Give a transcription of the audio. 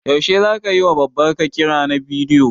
Yaushe zaka yiwa Babar ka kira na bidiyo?